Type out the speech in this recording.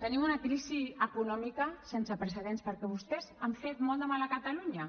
tenim una crisi econòmica sense precedents perquè vostès han fet molt de mal a catalunya